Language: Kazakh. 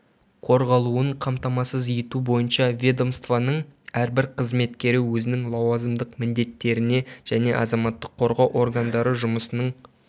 қорғалуын қамтамасыз ету бойынша ведомствоның әрбір қызметкері өзінің лауазымдық міндеттеріне және азаматтық қорғау органдары жұмысының